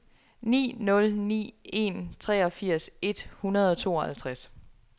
ni nul ni en treogfirs et hundrede og tooghalvtreds